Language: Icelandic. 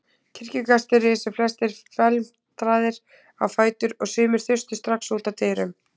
Kirkjugestir risu flestir felmtraðir á fætur og sumir þustu strax út að dyrunum.